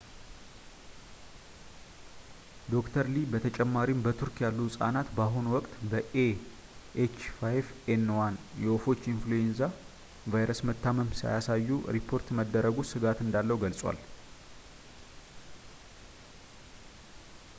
ዶ/ር ሊ በተጨማሪም በቱርክ ያሉ ህጻናት በአሁኑ ወቅት በ ኤኤች 5 ኤን 1 የወፎች የኢንፍሉዌንዛ ቫይረስ መታመም ሳያሳዩ ሪፖርት መደረጉ ስጋት እንዳለው ገልጸዋል